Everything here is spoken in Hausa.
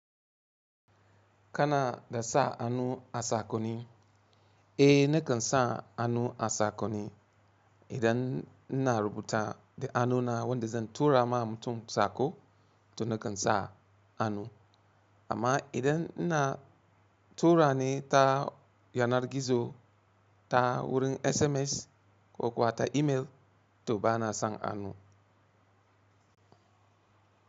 Kana da sa hannu a saƙonni? Eh, nakan sa hannu a saƙonni idan ina rubuta da hannuna wanda zan tura ma mutum saƙo to nakan sa hannu. Amma idan ina tura ne ta yanar gizo ta wurin SMS ko kuwa ta email to bana sa hannu.